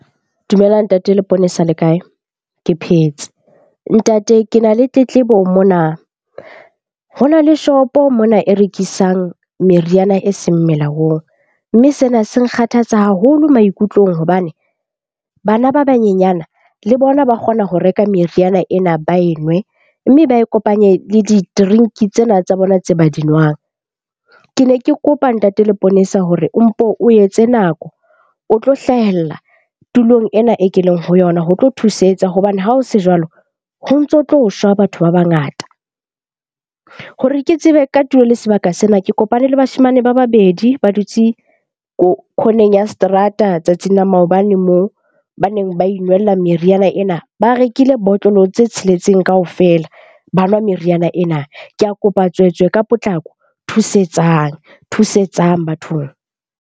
Dumela Ntate Leponesa le kae? Ke phetse. Ntate ke na le tletlebo mona. Ho na le shopo mona e rekisang meriana eseng melaong, mme sena se nkgathatsa haholo maikutlong hobane bana ba banyenyana le bona ba kgona ho reka meriana ena ba e nwe. Mme ba e kopanye le di-drink-i tsena tsa bona tse ba di nwang. Ke ne ke kopa Ntate Leponesa hore o mpo o etse nako, o tlo hlahella tulong ena e ke leng ho yona ho tlo thusetsa hobane ha ho se jwalo ho ntso tlo shwa batho ba bangata. Hore ke tsebe ka tulo le sebaka sena, ke kopane le bashemane ba babedi ba dutse corner-eng ya seterata tsatsing la maobane moo baneng ba inwella meriana ena. Ba rekile botlolo tse tsheletseng kaofela, ba nwa meriana ena. Ke a kopa tswetswe ka potlako thusetsang, thusetsang bathong.